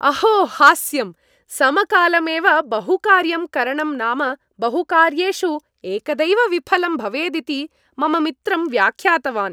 अहो हास्यं! समकालमेव बहुकार्यं करणं नाम बहुकार्येषु एकदैव विफलं भवेदिति मम मित्रं व्यख्यातवान्।